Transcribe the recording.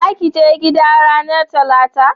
za ki je gida ranar talata?